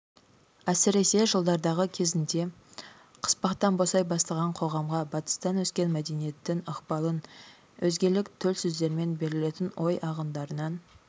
әсіресе жылдардағы кезінде қыспақтан босай бастаған қоғамға батыстан ескен мәдениеттің ықпалын өзгелік төл сөздермен берілетін ой ағындарынан